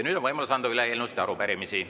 Nüüd on võimalus anda üle eelnõusid ja arupärimisi.